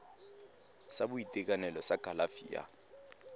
sa boitekanelo sa kalafi ya